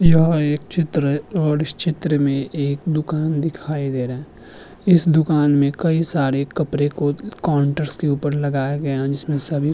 यह एक चित्र है और इस चित्र में एक दुकान दिखाई दे रहे हैं। इस दुकान में कई सारे कपरे को काउंटर्स के ऊपर लगाया गया है जिसमें सभी --